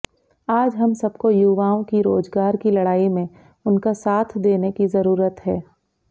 आज हम सबको युवाओं की रोजगार की लड़ाई में उनका साथ देने की जरूरत है